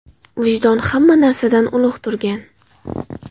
Vijdon hamma narsadan ulug‘ turgan.